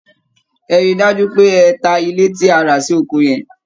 Ẹ rí i dájú pé ẹ ta ilé tí a rà sí oko yẹn!